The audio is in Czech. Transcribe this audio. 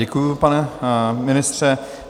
Děkuji, pane ministře.